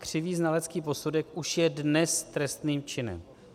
Křivý znalecký posudek už je dnes trestným činem.